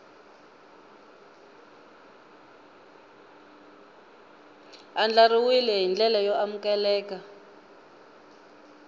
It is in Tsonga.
andlariwile hi ndlela yo amukeleka